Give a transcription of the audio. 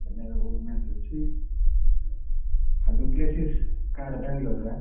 ଚେନ୍ନାଇ ରେ ବହୁତ match ଅଛି ଆଉ କାହାର ବ୍ୟଙ୍ଗଲୋର ର ଆଁ?